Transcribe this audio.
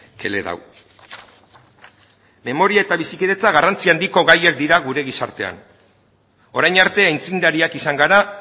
que le he dado memoria eta bizikidetza garrantzi handiko gaiak dira gure gizartean orain arte aitzindariak izan gara